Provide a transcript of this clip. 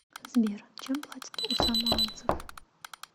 сбер чем платят у самоанцев